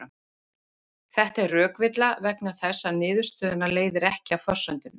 Þetta er rökvilla vegna þess að niðurstöðuna leiðir ekki af forsendunum.